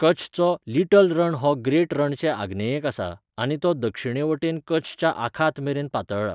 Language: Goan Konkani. कच्छचो लिटल रण हो ग्रेट रणचे आग्नेयेक आसा, आनी तो दक्षिणेवटेन कच्छच्या आखातमेरेन पातळ्ळा.